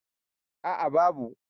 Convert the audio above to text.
a a babu